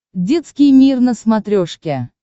детский мир на смотрешке